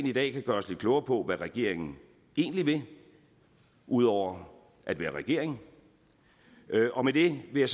i dag kan gøre os lidt klogere på hvad regeringen egentlig vil ud over at være regering og med det vil